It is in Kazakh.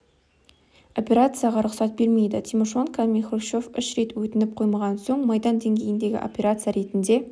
операцияға рұқсат бермейді тимошенко мен хрущев үш рет өтініп қоймаған соң майдан деңгейіндегі операция ретінде